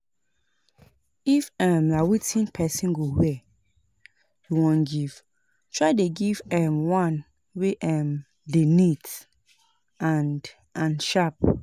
If um na wetin persin go wear you won give try give di um one wey um de neat and and sharp